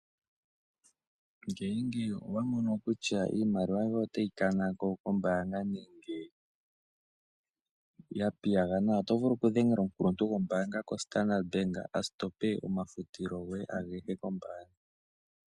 Nenge owamono kutya iimaliwa yoye otayi kanako kombanga nenge yapiyagana otovulu okudhengela omukulutu ngombanga ko Standard Bank asitope omafutilo goye angehe kombanga.